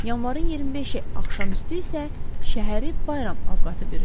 Yanvarın 25-i axşamüstü isə şəhəri bayram avqatı bürüdü.